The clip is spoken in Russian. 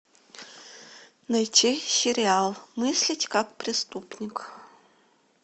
найти сериал мыслить как преступник